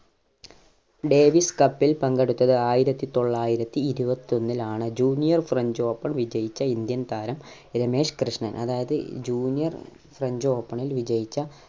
Davis cup ൽ പങ്കെടുത്തത് ആയിരത്തി തൊള്ളായിരത്തി ഇരുപത്തി ഒന്നിലാണ് juniorfrench open വിജയിച്ച indian താരം രമേശ് കൃഷ്‌ണൻ അതായത് juniorfrench open ൽ വിജയിച്ച